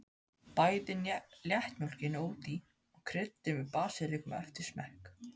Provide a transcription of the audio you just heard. Bætið léttmjólkinni út í og kryddið með basilíku eftir smekk.